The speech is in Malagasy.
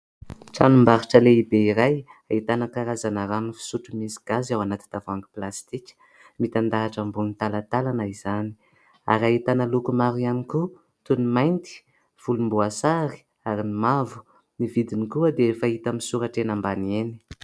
Tranom-barotra lehibe iray ahitana karazana rano fisotro misy gazy ao anaty tavoahangy plastika, mitandahatra ambony talantalana izany ary ahitana loko maro ihany koa toy ny mainty, volomboasary ary ny mavo, ny vidiny koa dia efa hita misoratra eny ambany eny.